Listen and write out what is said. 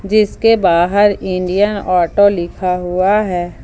जिसके बाहर Indian auto लिखा हुआ है।